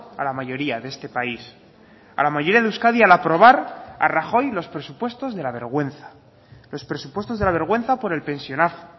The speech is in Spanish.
a la mayoría de este país a la mayoría de euskadi al aprobar a rajoy los presupuestos de la vergüenza los presupuestos de la vergüenza por el pensionazo